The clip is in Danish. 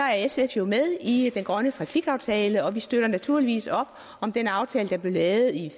er sf jo med i den grønne trafikaftale og vi støtter naturligvis op om den aftale der blev lavet i